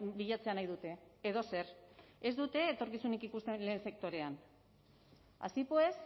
bilatzea nahi dute edozer ez dute etorkizunik ikusten lehen sektorean así pues